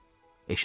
Eşidin.